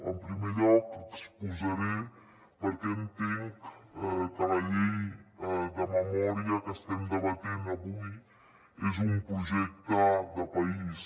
en primer lloc exposaré per què entenc que la llei de memòria que estem debatent avui és un projecte de país